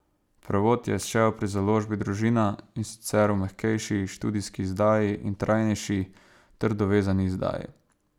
Prevod je izšel pri založbi Družina, in sicer v mehkejši, študijski izdaji, in trajnejši, trdovezani izdaji.